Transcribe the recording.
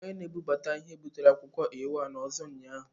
Onye na-ebubata ihe butere akwụkwọ A4 ọzọ ụnyaahụ.